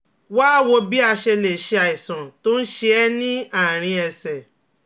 Wá a wò bí a ṣe lè ṣe àìsàn tó ń ṣe é ní àárín ẹsẹ̀